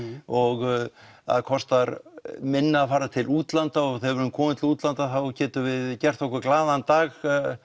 og það kostar minna að fara til útlanda og þegar við erum komin til útlanda getum við gert okkur glaðan dag